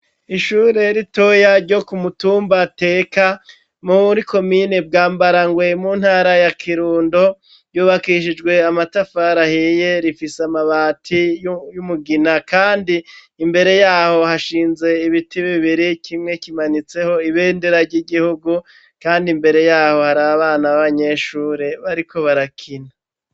Ishure ritoya ryo kumutumba Teka muri komine bwa Bwarangwe mu ntara ya Kirundo, ryubakishijw' amatafar'ahiye rifise amabati y'umugina kandi imbere yaho hashinze ibiti bibiri kimwe kimanitseho ibendera ry'igihugu kandi imbere yaho har' abana b'abanyeshuri bariko barakina.